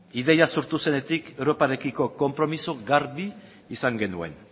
ideia sortu zenetik europarekiko konpromiso garbi izan genuen